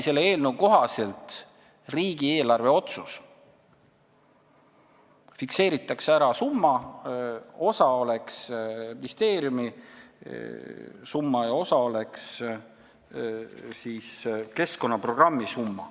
Selle eelnõu kohaselt oleks tegu riigieelarvelise otsusega: fikseeritakse ära summa, millest osa oleks ministeeriumi summa ja osa keskkonnaprogrammi summa.